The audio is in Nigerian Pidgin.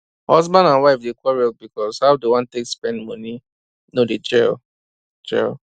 husband and wife dey quarrel because how dem wan take spend money no dey gel gel